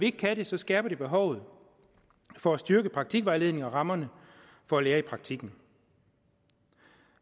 ikke kan det skærper det behovet for at styrke praktikvejledningen og rammerne for at lære i praktikken